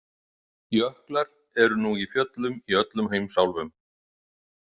Jöklar eru nú í fjöllum í öllum heimsálfum.